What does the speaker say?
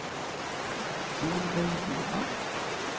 Solveig Boman